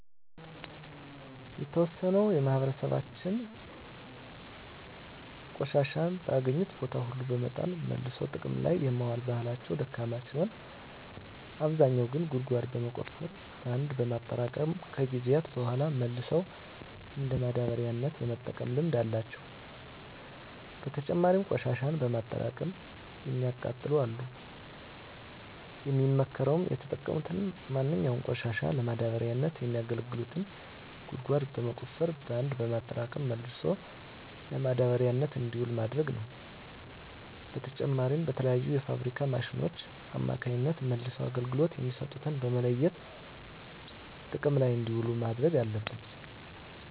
የተዎሰነው የማህበራሰባችን ቆሻሻን በአገኙት ቦታ ሁሉ በመጣል መልሶ ጥቅም ላይ የማዋል ባህላቸው ደካማ ሲሆን አብዛኛው ግን ጉድጓድ በመቆፈር በአንድ በማጠራቀም ከጊዜያት በሗላ መልሰው እንደ ማዳበሪያነት የመጠቀም ልምድ አላቸው። በተጨማሪም ቆሽሻን በማጠራቀም የሚያቃጥሉ አሉ። የሚመከረውም የተጠቀሙትን ማንኛውንም ቆሻሻ ለማዳበሪያነት የሚያገለግሉትን ጉድጓድ በመቆፈር በአንድ በማጠራቀም መልሶ ለማዳበሪያነት እንዲውል ማድረግ ነው። በተጨማሪም በተለያዩ የፋብሪካ ማሽኖች አማካኝነት መልሰው አገልግሎት የሚሰጡትን በመለየት ጥቅም ላይ እንዲውሉ ማድረግ አለብን።